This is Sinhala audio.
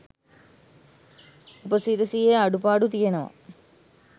උපසිරසියෙ අඩුපාඩු තියෙනව